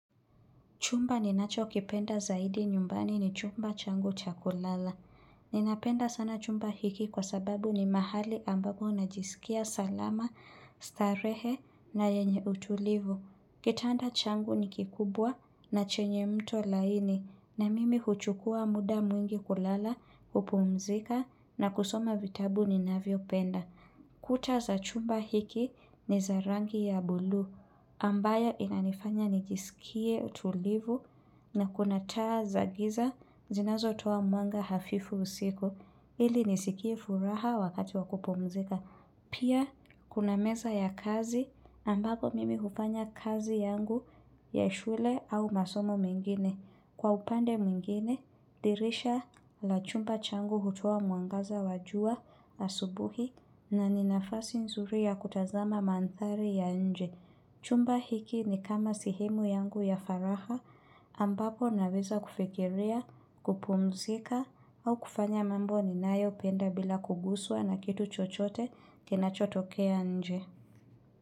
Chumba ninacho kipenda zaidi nyumbani ni chumba changu cha kulala. Ninapenda sana chumba hiki kwa sababu ni mahali ambago najisikia salama, starehe na yenye utulivu. Kitanda changu ni kikubwa na chenye mto laini na mimi huchukua muda mwingi kulala kupumzika na kusoma vitabu ni navyo penda. Kuta za chumba hiki ni za rangi ya bulu ambayo inanifanya nijisikie utulivu na kuna taa za giza zinazo toa mwanga hafifu usiku ili nisikie furaha wakati wa kupumzika. Pia, kuna meza ya kazi ambapo mimi hufanya kazi yangu ya shule au masomo mengine. Kwa upande mwigine, dirisha la chumba changu hutoa mwangaza wa jua asubuhi na ni nafasi nzuri ya kutazama manthari ya nje. Chumba hiki ni kama sehemu yangu ya furaha ambapo naweza kufikiria, kupumzika au kufanya mambo ninayo penda bila kuguswa na kitu chochote kinachotokea nje.